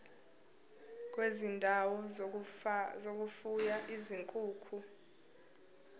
kwezindawo zokufuya izinkukhu